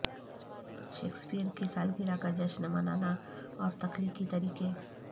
Shakespeare کی سالگرہ کا جشن منانا اور تخلیقی طریقے